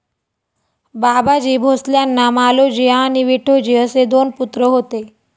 बाबाजी भोसल्यांना मालोजी आणि विठोजी असे दोन पुत्र होते.